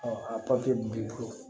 a b'i bolo